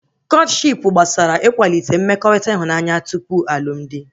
Kọtshipu gbasara ikwalite mmekọrịta ịhụnanya tupu alụmdi